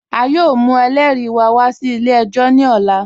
A yọọ mù ẹlẹ́ri wá wà sí ilẹ̀-ẹ̀jọ̀ ní òlà.